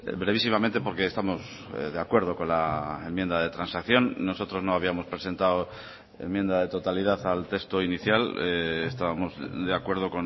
brevísimamente porque estamos de acuerdo con la enmienda de transacción nosotros no habíamos presentado enmienda de totalidad al texto inicial estábamos de acuerdo